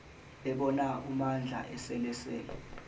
bebona umandla eselele